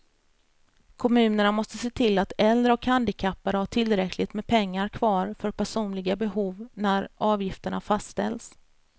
Kommunerna måste se till att äldre och handikappade har tillräckligt med pengar kvar för personliga behov när avgifterna fastställs.